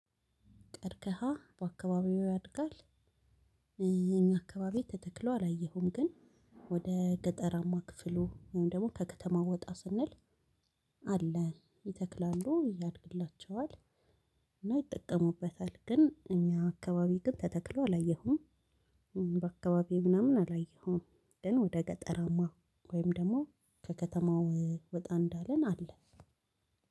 ቀርከሃ በአካባቢው ያድጋል? የኛ አካባቢ ተተክሎ አላየሁም። ግን ወደ ገጠራማ ክፍሉ ወይም ደግሞ ከከተማ ወጣ ስንል አለ ይተክላሉ። ያደግላቸው እና ይጠቀሙበታል። ግን እኛ አካባቢ ግን ተተክሎ አላየሁም። በአካባቢው ምናምን አላየሁም። ግን ወደ ገጠራማ ወይም ደግሞ ከከተማው ወጣ እንዳልን አለ።